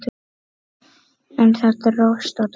En það dróst og dróst.